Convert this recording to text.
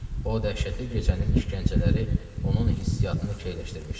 O dəhşətli gecənin işgəncələri onun hissiyatını keyləşdirmişdi.